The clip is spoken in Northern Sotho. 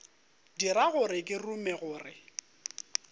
dira gore ke rume gore